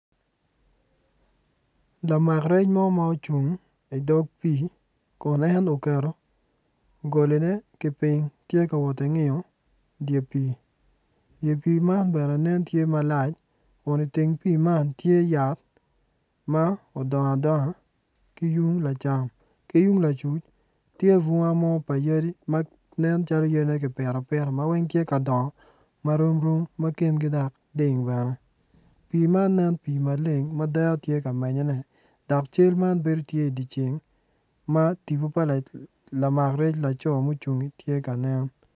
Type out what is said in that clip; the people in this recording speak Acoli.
Lamak rec mo ma ocung i dog pii kun en oketo goline ki piny kun tye ka i pii man bene nen tye malac kun iteng pii man tye yat ma odongo adonga tye bunga pa yadi ma weng tye ka dongo ma romrom pii man nen pii maleng ma tipo pa lamac rec tye ka nen.